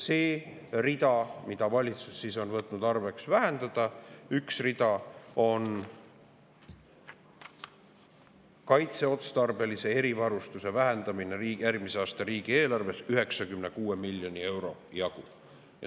See üks rida, mida valitsus on võtnud nõuks vähendada, on kaitseotstarbelise erivarustuse vähendamine, järgmise aasta riigieelarves 96 miljoni euro jagu.